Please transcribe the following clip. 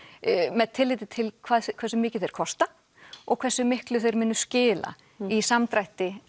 með tilliti til hversu mikið þeir kosta og hversu miklu þeir muni skila í samdrætti